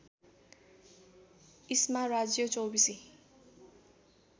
इस्मा राज्य चौबीसी